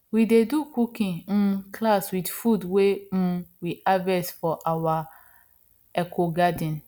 we dey do cooking um class with food wey um we harvest from our ecogarden